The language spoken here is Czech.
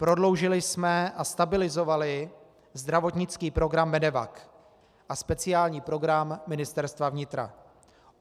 Prodloužili jsme a stabilizovali zdravotnický program MEDEVAC a speciální program Ministerstva vnitra.